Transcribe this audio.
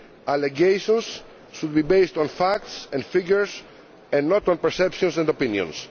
Allegations should be based on facts and figures and not on perceptions and opinions.